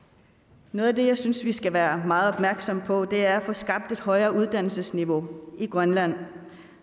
noget af det som jeg synes vi skal være meget opmærksomme på er få skabt et højere uddannelsesniveau i grønland